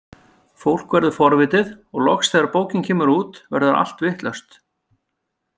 Fólk verður forvitið og loks þegar bókin kemur út verður allt vitlaust.